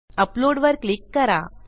upload वर click करा